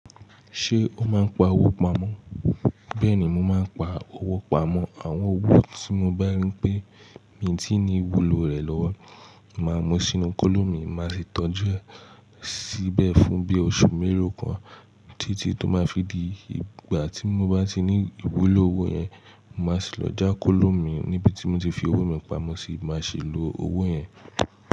Ṣé o máa ń pa owó pamọ́? Bẹ́ẹ̀ni, mo máa ń pa owó pamọ́. Àwọn owó tí mo bá rí pé mi tí ní ìwúlò rẹ̀ lọ́wọ́, màá mú sínú kóló mì, màá sì tọ́jú ẹ síbẹ̀ fún bí oṣù mélòó kan títí tó máa fi di ìgbà tí mo bá ti ní ìwúlò owó yẹn, màá sì lọ já kóló mì níbi tí mo ti fi owó mi pamọ́ sì máa sì lo owó yẹn.